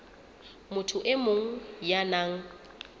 motho e mong ya nang